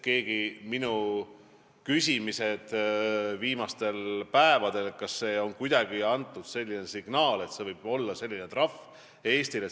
Ma olen viimastel päevadel küsinud, kas on kuidagi antud selline signaal, et Eesti võib saada sellise trahvi.